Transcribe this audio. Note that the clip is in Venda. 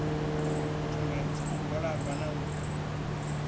dzitsumbedzo u gwalaba na u